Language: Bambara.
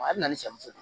A bɛ na ni saɲɔ